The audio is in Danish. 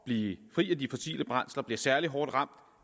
blive fri af de fossile brændsler bliver særlig hårdt ramt